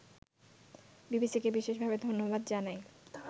বিবিসিকে বিশেষভাবে ধন্যবাদ জানাই